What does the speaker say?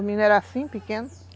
Os meninos eram assim, pequenos.